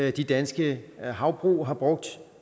i danske havbrug har brugt